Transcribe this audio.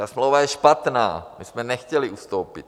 Ta smlouva je špatná, my jsme nechtěli ustoupit.